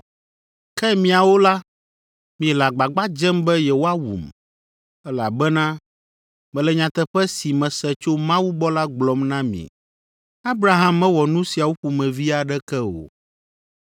Ke miawo la, miele agbagba dzem be yewoawum, elabena mele nyateƒe si mese tso Mawu gbɔ la gblɔm na mi. Abraham mewɔ nu siawo ƒomevi aɖeke o.